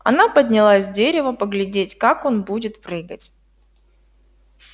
она подняла с дерева поглядеть как он будет прыгать